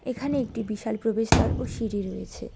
এখানে একটি বিশাল প্রবেশদ্বার ও সিঁড়ি রয়েছে।